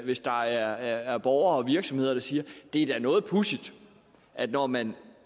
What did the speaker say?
hvis der er borgere og virksomheder der siger det er da noget pudsigt at når man